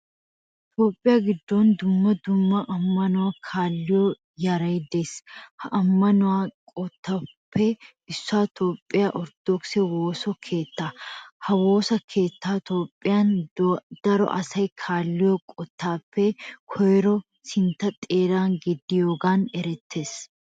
Tophphiyaa giddon dumma dumma amanuwa kaalliyaa yaray de'es. Ha amano eqotappe issoy tophphiyaa ortodkise woosa keetta. Ha woosa keettay tophphiyaan daroo asay kaalliyo eqotappe koyronne sintta xeera gidiyoogan erettes.